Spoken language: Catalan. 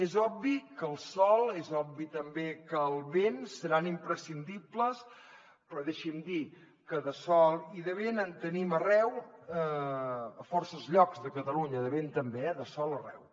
és obvi que el sol és obvi també que el vent seran imprescindibles però deixi’m dir que de sol i de vent en tenim arreu a forces llocs de catalunya de vent també eh de sol arreu